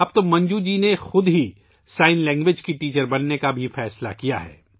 اب منجو جی نے خود بھی اشاروں کی زبان کی ٹیچر بننے کا فیصلہ کیا ہے